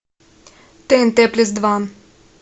тнт плюс два